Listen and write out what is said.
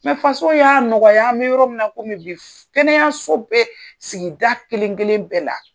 Mɛ fasow y'a nɔgɔya an bɛ yɔrɔ min na komi bi kɛnɛyaso bɛ sigida kelen kelen bɛɛ la.